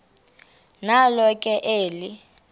nalo ke eli